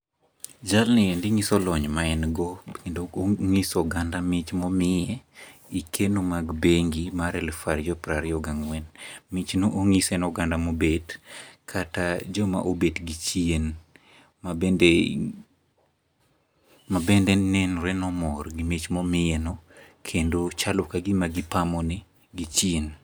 Jalni endi nyiso lony ma en go kendo nyiso oganda mich momiye e keno mag bengi mar alufu ariyo prariyo gang'wen. Michno onyise ne oganda mobet kata joma obet gi chien ma bende ma bende nenore ni omor gi mich momiyeno kendo chako kagima gipamo ne gi chien.